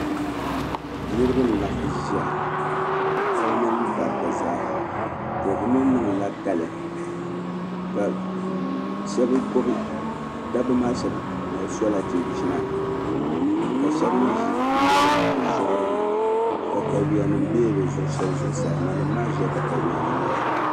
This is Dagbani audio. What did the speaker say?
Niribi n laɣim n ʒiya paɣaba mini dabi zaaha, to bɛ mi niŋdila kali. dabi maa shabi sola chinchina. ka shabi mi ʒi nema , bɛ zuɣurini, taka yuya nim bela bɛ zuɣu saa, nanim maa ʒila takayuya nim maa gbunni.